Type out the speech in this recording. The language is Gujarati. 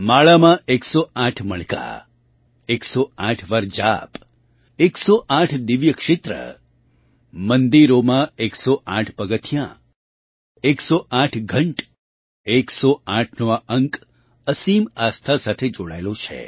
માળામાં 108 મણકા 108 વાર જાપ 108 દિવ્ય ક્ષેત્ર મંદિરોમાં 108 પગથિયાં 108 ઘંટ 108નો આ અંક અસીમ આસ્થા સાથે જોડાયેલો છે